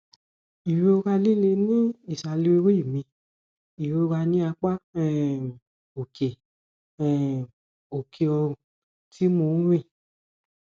ìrora líle ní ìsàlẹ orí mi ìrora ní apá um òkè um òkè ọrùn tí mo ń rìn